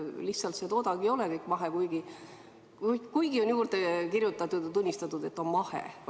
Lihtsalt see toodang ei ole kõik mahe, kuigi on juurde kirjutatud ja tunnistanud, et on mahe.